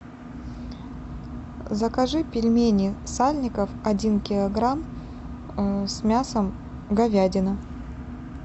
закажи пельмени сальников один килограмм с мясом говядина